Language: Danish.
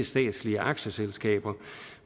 statslige aktieselskaber